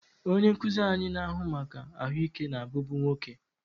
Onye nkuzi anyị na-ahụ maka ahụike na-abụbu nwoke.